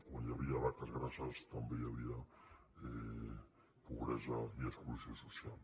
quan hi havia vaques grasses també hi havia pobresa i exclusió social